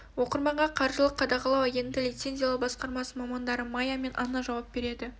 оқырманға қаржылық қадағалау агенттігінің лицензиялау басқармасының мамандары майя мен анна жауап береді